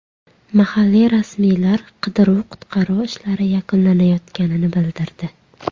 Mahalliy rasmiylar qidiruv-qutqaruv ishlari yakunlanayotganini bildirdi.